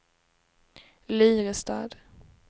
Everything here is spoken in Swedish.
Lyrestad